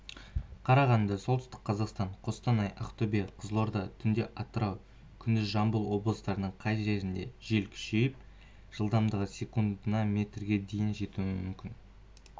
қарағанды солтүстік қазақстан қостанай ақтөбе қызылорда түнде атырау күндіз жамбыл облыстарының кей жерлерінде жел күшейіп жылдамдығы секундына метрге дейін жетуі мүмкін